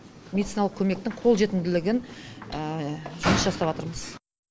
медициналық көмектің қолжетімділігін жұмыс жасаватырмыз